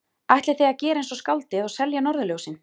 Ætlið þið að gera eins og skáldið og selja norðurljósin?